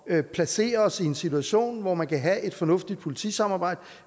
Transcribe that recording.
at placere os i en situation hvor man kan have et fornuftigt politisamarbejde